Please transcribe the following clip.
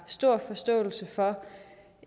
stor forståelse for